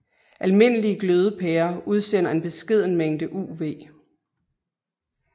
Almindelige glødepærer udsender en beskeden mængde UV